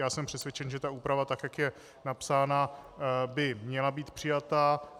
Já jsem přesvědčen, že ta úprava, tak jak je napsána, by měla být přijata.